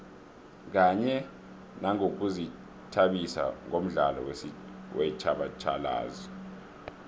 kanye nangokuzithabisa ngomdlalo wetjhatjhalazi